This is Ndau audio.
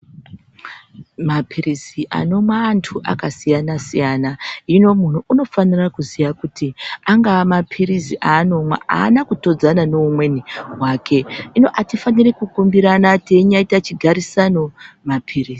Mapilizi anomwa antu akasiyana siyana, hino munhu unofanira kuziya kuti angava mapirizi anomwa hana kutodzana neumweni wake. Hino atifaniri kukumbirana teinyaita chigarisano mapirizi.